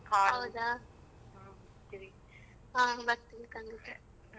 ಹಾ ಹೌದಾ ಹಾ ಬರ್ತಿವ್.